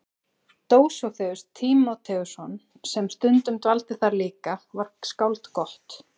Dósóþeus Tímóteusson sem stundum dvaldi þar líka var skáld gott.